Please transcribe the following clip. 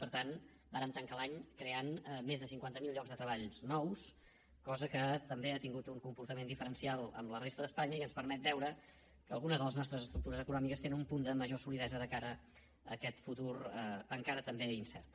per tant vàrem tancar l’any creant més de cinquanta miler llocs de treball nous cosa que també ha tingut un comportament diferencial amb la resta d’espanya i ens permet veure que algunes de les nostres estructures econòmiques tenen un punt de major solidesa de cara a aquest futur encara també incert